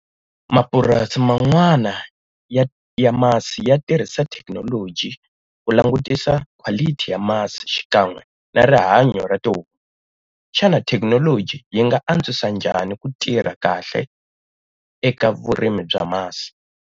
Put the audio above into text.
Mapurasi man'wana ya ya masi ya tirhisa thekinoloji ku langutisa quality ya masi xikan'we na rihanyo ra tihomu. Xana thekinoloji yi nga antswisa njhani ku tirha kahle eka vurimi bya masi?